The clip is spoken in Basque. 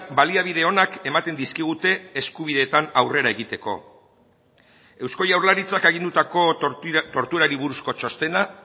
baliabide onak ematen dizkigute eskubideetan aurrera egiteko eusko jaurlaritzak agindutako torturari buruzko txostena